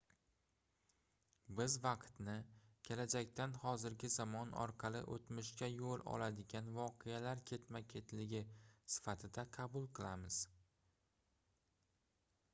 biz vaqtni kelajakdan hozirgi zamon orqali oʻtmishga yoʻl oladigan voqealar ketma-ketligi sifatida qabul qilamiz